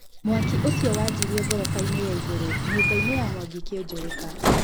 Mwaki ũcio wanjirie ngorobainĩ ya igũrũnyũmbainĩ ya Mwangi Kĩũnjũrĩka.